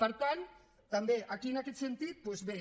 per tant també aquí en aquest sentit doncs bé